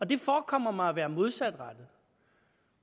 det forekommer mig at være modsatrettet